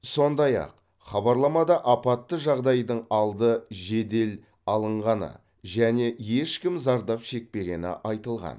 сондай ақ хабарламада апатты жағдайдың алды жедел алынғаны және ешкім зардап шекпегені айтылған